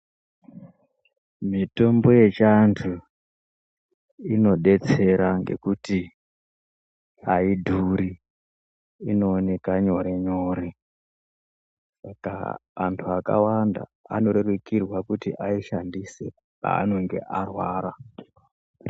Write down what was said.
Mitombo yechiantu inodetsera ngekuti aidhuri inooneka nyore nyore saka antu akawanda anorerukirwa kuti aishandise paanenge arwara.